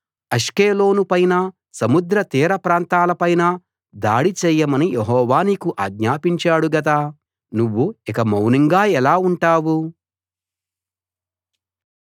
Ashkelon పైనా సముద్ర తీర ప్రాంతాల పైనా దాడి చేయమని యెహోవా నీకు ఆజ్ఞాపించాడు కదా నువ్వు ఇక మౌనంగా ఎలా ఉంటావు